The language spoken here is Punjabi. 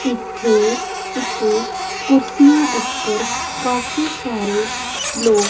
ਇੱਥੇ ਇੱਕ ਕੁਰਸੀਆਂ ਉਪਰ ਕਾਫੀ ਸਾਰੇ ਲੋਕ --